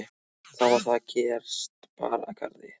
Þá var það að gest bar að garði.